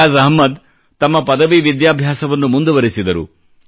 ಫಯಾಜ್ ಅಹ್ಮದ್ ತಮ್ಮ ಪದವಿ ವಿದ್ಯಾಭ್ಯಾಸವನ್ನು ಮುಂದುವರಿಸಿದರು